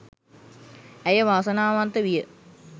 ඇය වාසනාවන්ත විය